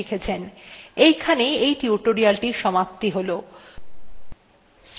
এই tutorial আপনি environment variables history এবং aliasing এর সম্বন্ধে শিখেছেন